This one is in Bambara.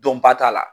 Dɔnba t'a la